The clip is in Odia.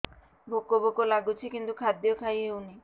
ଭୋକ ଭୋକ ଲାଗୁଛି କିନ୍ତୁ ଖାଦ୍ୟ ଖାଇ ହେଉନି